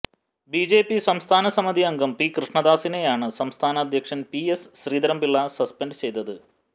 BJP സംസ്ഥാന സമിതി അംഗം പി കൃഷ്ണദാസിനെയാണ് സംസ്ഥാന അധ്യക്ഷന് പി എസ് ശ്രീധരന്പിള്ള സസ്പെന്റ് ചെയ്തത്